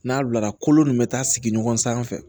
N'a bilara kolo nin bɛ taa sigi ɲɔgɔn sanfɛ